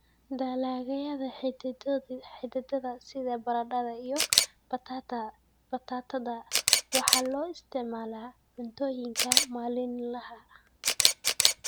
Dalagyada xididdada sida baradhada iyo batatada waxaa loo isticmaalaa cuntooyinka maalinlaha ah.